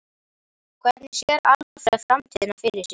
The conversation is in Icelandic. Hvernig sér Alfreð framtíðina fyrir sér?